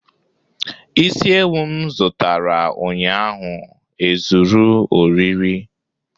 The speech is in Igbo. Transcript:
Isi ewu m zụtara ụnyaahụ ezuru oriri